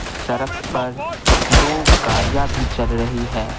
सड़क पर दो गाड़ियाँ भी चल रही है।